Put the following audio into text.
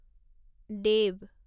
দেৱ